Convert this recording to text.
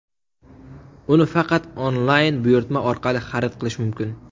Uni faqat onlayn buyurtma orqali xarid qilish mumkin.